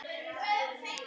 Sjöundi þáttur